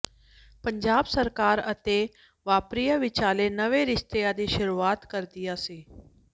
ਪੰਜਾਬ ਸਰਕਾਰ ਅਤੇ ਵਪਾਰੀਆਂ ਵਿਚਾਲੇ ਨਵੇਂ ਰਿਸ਼ਤਿਆਂ ਦੀ ਸ਼ੁਰੂਆਤ ਕਰਦਿਆਂ ਸ